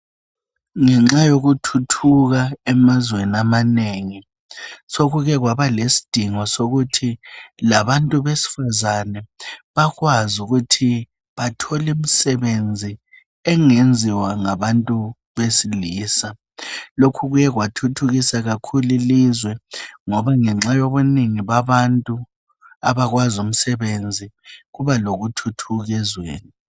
Ngenxa yokuthuthuka emazweni amanengi sokuke kwaba lesidingo sokuthi labantu besifazane bakwazi ukuthi bathole imisebenzi engenziwa ngabantu besilisa. Lokhu kuye kwathuthukisa kakhulu ilizwe ngoba ngenxa yokubunengi babantu abakwazi umsebenzi kuba lokuthuthuka ezweni.